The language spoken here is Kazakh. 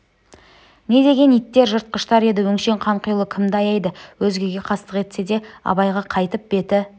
не деген иттер жыртқыштар еді өңшең қанқұйлы кімді аяйды өзгеге қастық етсе де абайға қайтіп беті